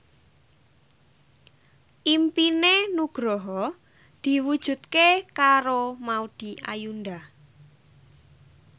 impine Nugroho diwujudke karo Maudy Ayunda